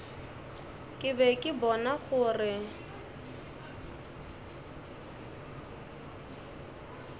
ke be ke bona gore